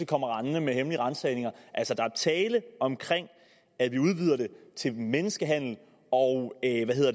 kommer rendende med hemmelige ransagninger altså der er tale om at vi udvider det til menneskehandel og